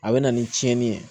A bɛ na ni cɛnni ye